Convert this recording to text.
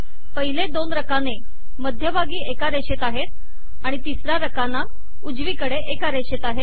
पहिले दोन रकाने मध्यभागी एका रेषेत आहेत आणि तिसरा रकाना उजवीकडे एका रेषेत आहे